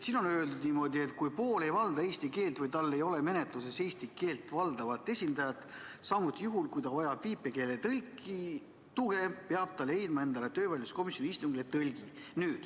Siin on öeldud niimoodi, et kui pool ei valda eesti keelt või tal ei ole menetluses eesti keelt valdavat esindajat, samuti juhul, kui ta vajab viipekeeletõlgi tuge, peab ta leidma endale töövaidluskomisjoni istungile tõlgi.